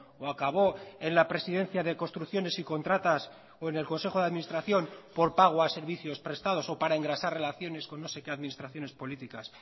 o acabó en la presidencia de construcciones y contratas o en el consejo de administración por pago a servicios prestados o para engrasar relaciones con no sé qué administraciones políticas